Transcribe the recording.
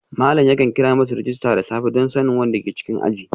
Malam yakan kira masu rajista da safe don sanin wanda ke cikin aji